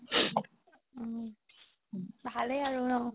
ভালে আৰু ন